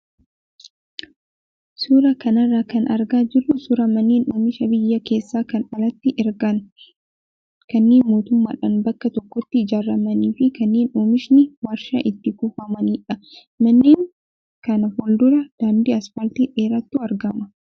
Suuraa kanarraa kan argaa jirru suuraa manneen oomisha biyya keessa kan alatti ergan kanneen mootummaadhaan bakka tokkotti ijaaramanii fi kanneen oomshni waarshaa itti kuufamanidha. Manneen kana fuuldura daandii asfaaltii dheeraatu argama.